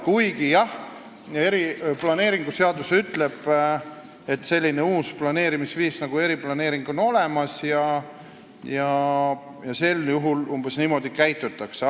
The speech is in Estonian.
Kuigi jah, planeerimisseadus ütleb, et selline uus planeerimisviis nagu eriplaneering on olemas ja sel juhul umbes niimoodi käitutakse.